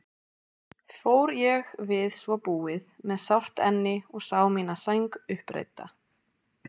Fór ég við svo búið með sárt enni og sá mína sæng uppreidda.